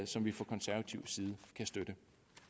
som vi fra konservativ side kan støtte